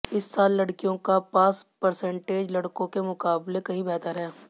इस साल लड़कियों का पास पर्सेंटेज लड़कों के मुकाबले कहीं बेहतर है